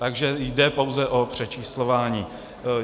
Takže jde pouze o přečíslování.